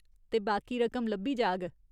ते बाकी रकम लब्भी जाह्ग।